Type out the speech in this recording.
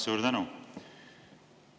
Suur tänu!